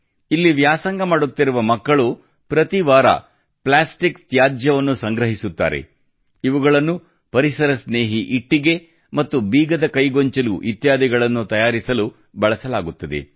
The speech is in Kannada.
ಇಲ್ಲಿ ವ್ಯಾಸಂಗ ಮಾಡುತ್ತಿರುವ ಮಕ್ಕಳು ಪ್ರತಿ ವಾರ ಪ್ಲಾಸ್ಟಿಕ್ ತ್ಯಾಜ್ಯವನ್ನು ಸಂಗ್ರಹಿಸುತ್ತಾರೆ ಇವುಗಳನ್ನು ಪರಿಸರ ಸ್ನೇಹಿ ಇಟ್ಟಿಗೆ ಮತ್ತು ಬೀಗದಕೈ ಗೊಂಚಲು ಇತ್ಯಾದಿಗಳನ್ನು ತಯಾರಿಸಲು ಬಳಸಲಾಗುತ್ತದೆ